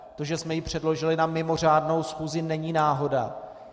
To, že jsme ji předložili na mimořádnou schůzi, není náhoda.